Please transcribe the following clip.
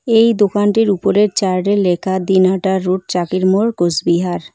এই দোকানটির উপরের চার্ট -এ লেখা দিনহাটা রোড চাকির মোড় কোসবিহার ।